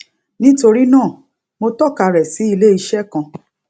nítorí náà mo tọka rẹ sí ilé iṣé kan